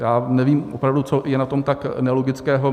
Já nevím opravdu, co je na tom tak nelogického.